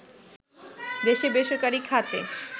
দেশে বেসরকারি খাতে